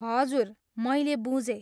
हजुर, मैले बुझेँ।